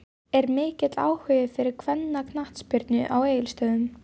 Er mikill áhugi fyrir kvennaknattspyrnu á Egilsstöðum?